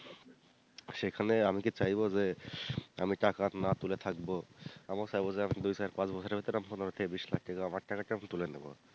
সেখানে আমি কি চাইবো যে আমি টাকা না তুলে থাকবো, আমিও চাইবো যে আমি দুই থেকে পাঁচ বছরের ভিতরে আমি পনেরো থেকে বিষ লাখ আমার টাকাকে আমি তুলে নিবো।